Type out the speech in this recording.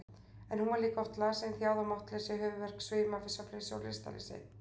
En hún var líka oft lasin, þjáð af máttleysi, höfuðverk, svima, svefnleysi, lystarleysi.